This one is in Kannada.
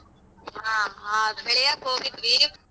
ಹ ಆಗ್ ಬೆಳ್ಯಕ್ ಹೋಗಿದ್ವಿ.